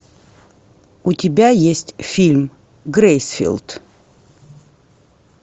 у тебя есть фильм грейсфилд